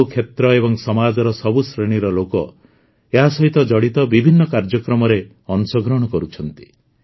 ସବୁ କ୍ଷେତ୍ର ଏବଂ ସମାଜର ସବୁ ଶ୍ରେଣୀର ଲୋକ ଏହା ସହିତ ଜଡ଼ିତ ବିଭିନ୍ନ କାର୍ଯ୍ୟକ୍ରମରେ ଅଂଶଗ୍ରହଣ କରୁଛନ୍ତି